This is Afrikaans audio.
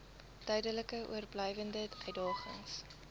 duidelik oorblywende uitdagings